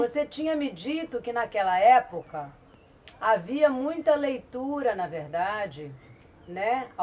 Você tinha me dito que naquela época havia muita leitura, na verdade, né?